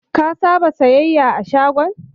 Ka saba siyayya a shagon?